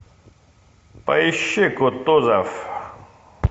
поищи кутузов